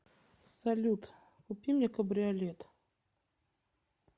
салют купи мне кабриолет